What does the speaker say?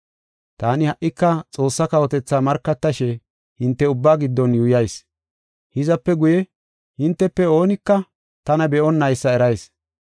“Taani ha77ika Xoossaa kawotethaa markatashe hinte ubbaa giddon yuuyas. Hizape guye, hintefe oonika tana be7onnaysa erayis.